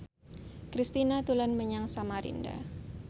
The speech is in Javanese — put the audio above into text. Kristina dolan menyang Samarinda